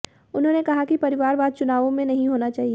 उन्होंने कहा कि परिवारवाद चुनावों मंे नहीं होना चाहिए